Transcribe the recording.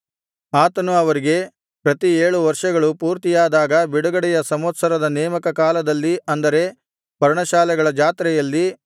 ಆತನು ಅವರಿಗೆ ಪ್ರತಿ ಏಳು ವರ್ಷಗಳು ಪೂರ್ತಿಯಾದಾಗ ಬಿಡುಗಡೆಯ ಸಂವತ್ಸರದ ನೇಮಕ ಕಾಲದಲ್ಲಿ ಅಂದರೆ ಪರ್ಣಶಾಲೆಗಳ ಜಾತ್ರೆಯಲ್ಲಿ